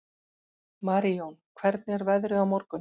Marijón, hvernig er veðrið á morgun?